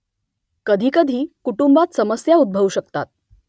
कधीकधी कुटुंबात समस्या उद्भवू शकतात